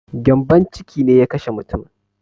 Gyambon ciki ne ya kashe mutumin